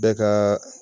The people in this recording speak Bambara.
Bɛɛ ka